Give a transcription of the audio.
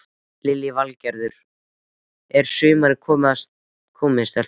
Lillý Valgerður: Er sumarið komið stelpur?